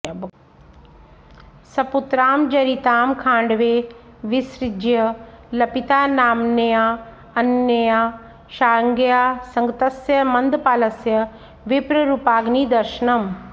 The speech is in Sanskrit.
सपुत्रां जरितां खाण्डवे विसृज्य लपितानाम्न्याऽन्यया शार्ङ्ग्या संगतस्य मन्दपालस्य विप्ररूपाग्निदर्शनम्